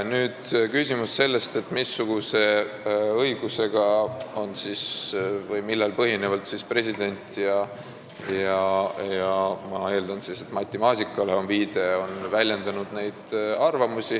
Nüüd küsimus sellest, missuguse õigusega või millel põhinevalt on president ja kantsler – ma eeldan, et viide on Matti Maasikale – selliseid arvamusi väljendanud.